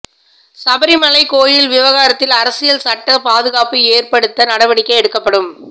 சபரிமலை கோவில் விவகாரத்தில் அரசியல் சட்ட பாதுகாப்பு ஏற்படுத்த நடவடிக்கை எடுக்கப்படும்